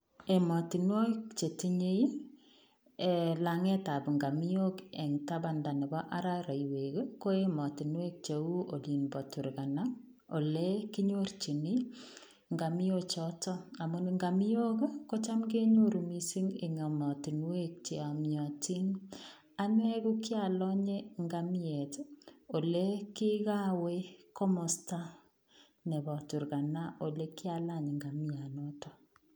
Ematinwakik che tinyei ii langeey ab ngamioknen tabandaa nebo araraiweek ii ko ematinweek che uu oliin bo Turkana, ole kinyorjini ngamiok chotoon ako ngamiok ii kocham kenyoruu missing en ematinweek che yamyatiin ane ko kiralanye ngamiet ii ole kikaweeh komostaa nebo Turkana ole kialaany ngamiaat notoon.